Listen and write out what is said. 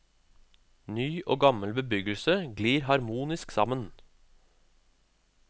Ny og gammel bebyggelse glir harmonisk sammen.